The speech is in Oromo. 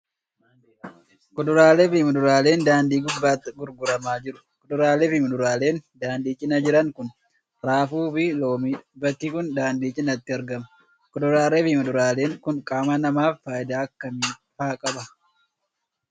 Kuduraalee fi muduraaleen daandii gubbaatti gurguramaa jiru. Kuduraalee fi muduraaleen daandii cinaa jiran kun, raafuu fi loomii dha. Bakki kun, daandii cinaatti argama. Kuduraalee fi muduraaleen kun, qaama namaaf faayidaa akka kamii faa qabu?